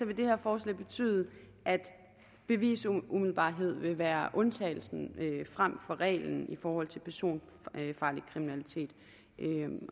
vil det her forslag betyde at bevisumiddelbarhed vil være undtagelsen frem for reglen i forhold til personfarlig kriminalitet